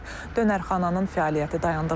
Dönərxananın fəaliyyəti dayandırılıb.